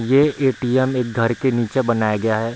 ये ए.टी.एम. एक घर के नीचे बनाया गया है।